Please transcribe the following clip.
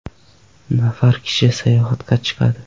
nafar kishi sayohatga chiqadi.